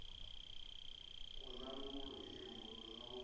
hu na luimbo lu no